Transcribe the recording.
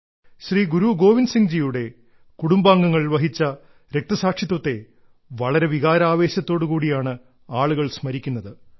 ശ്രീ ഗുരു ഗോവിന്ദ് സിംഗ്ജിയുടെ കുടുംബാംഗങ്ങൾ വഹിച്ച രക്തസാക്ഷിത്വത്തെ വളരെ വികാരാവേശത്തോടു കൂടിയാണ് ആളുകൾ സ്മരിക്കുന്നത്